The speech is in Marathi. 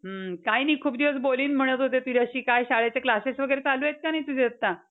हम्म. काही नाही. खूप दिवस बोलीन म्हणत होते तुझ्याशी. काय शाळेचे classes वगैरे चालू आहे का नाही तुझे आता?